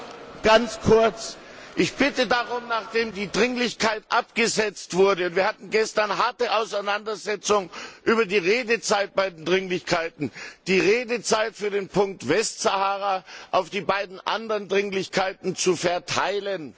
Herr Präsident! Ich bitte darum, nachdem die Dringlichkeit abgesetzt wurde wir hatten gestern harte Auseinandersetzungen über die Redezeit bei den Dringlichkeiten die Redezeit für den Punkt Westsahara auf die beiden anderen Dringlichkeiten zu verteilen.